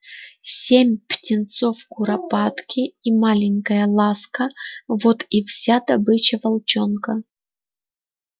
семь птенцов куропатки и маленькая ласка вот и вся добыча волчонка